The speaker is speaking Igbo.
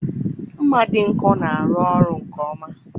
Ḿmà dị nkọ na-arụ ọrụ nke ọma.